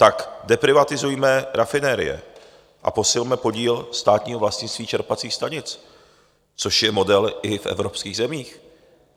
Tak deprivatizujme rafinerie a posilme podíl státního vlastnictví čerpacích stanic, což je model i v evropských zemích.